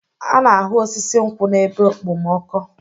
A na-ahụ osisi nkwụ n'ebe okpomọkụ.